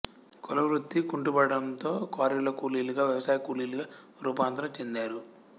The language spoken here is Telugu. కుల వృత్తి కుంటుపడటంతో క్వారీల్లో కూలీలుగా వ్యవసాయ కూలీలుగా రూపాంతరం చెందారు